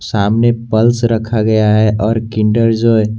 सामने पल्स रखा गया है और किंडर जॉय ।